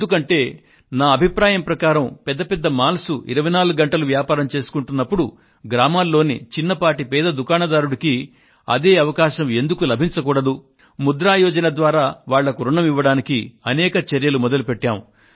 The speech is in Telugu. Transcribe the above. ఎందుకంటే నా అభిప్రాయం ప్రకారం పెద్ద పెద్ద మాల్స్ 24 గంటలు వ్యాపారం చేసుకుంటున్నప్పుడు గ్రామాల్లోని చిన్నపాటి పేద దుకాణదారుకు అదే అవకాశం ఎందుకు లభించకూడదు ముద్ర యోజన ద్వారా వాళ్లకు రుణం ఇవ్వడానికి అనేక చర్యలు మొదలుపెట్టాము